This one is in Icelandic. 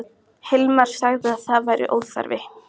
Myndum vér fagna því af alhug, ef það gæti orðið.